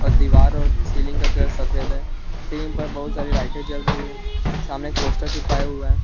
दीवार और सीलिंग का कलर का सफेद है। सीलिंग पर बहुत सारी लाइटें जल रही हैं सामने एक पोस्टर चिपकाए हुआ है।